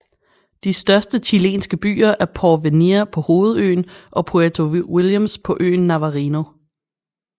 De største chilenske byer er Porvenir på hovedøen og Puerto Williams på øen Navarino